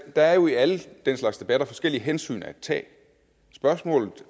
er jo i alle den slags debatter forskellige hensyn at tage spørgsmålet